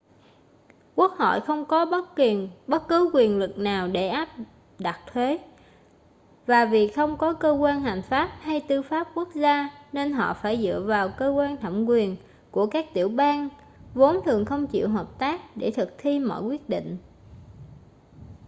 quốc hội không có bất cứ quyền lực nào để áp đặt thuế và vì không có cơ quan hành pháp hay tư pháp quốc gia nên họ phải dựa vào cơ quan thẩm quyền của các tiểu bang vốn thường không chịu hợp tác để thực thi mọi quyết định